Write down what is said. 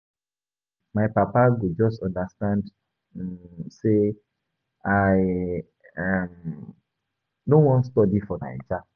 I wish my papa go just understand um sey I um no wan study for Naija.